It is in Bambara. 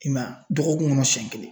I m'a ye a ,dɔgɔkun kɔnɔ siɲɛ kelen.